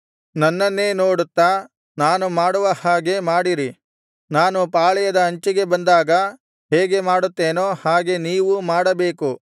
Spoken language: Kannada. ನನ್ನನ್ನೇ ನೋಡುತ್ತಾ ನಾನು ಮಾಡುವ ಹಾಗೆ ಮಾಡಿರಿ ನಾನು ಪಾಳೆಯದ ಅಂಚಿಗೆ ಬಂದಾಗ ಹೇಗೆ ಮಾಡುತ್ತೇನೋ ಹಾಗೆ ನೀವೂ ಮಾಡಬೇಕು